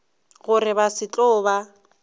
gore ba se tlo ba